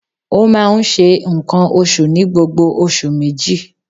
Ó máa n se ǹkan osù ní gbogbo oṣù méjì